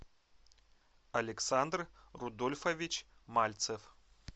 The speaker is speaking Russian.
александр рудольфович мальцев